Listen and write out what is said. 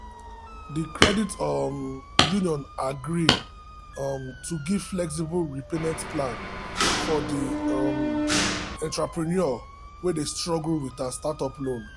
the credit um union agree um to give flexible repayment plan for the um entrepreneur wey dey struggle with her startup loan.